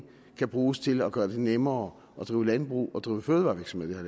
kan bruges til at gøre det nemmere at drive landbrug og nemmere at drive fødevarevirksomhed i